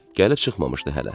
Gəlib çıxmamışdı hələ.